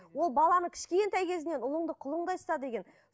ол баланы кішкентай кезінен ұлыңды құлыңдай ұста деген